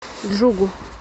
джугу